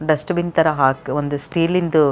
dustbin ತರ ಹಾಕ್ ಒಂದೇ ಸ್ಟೀಲಿಂ ದು --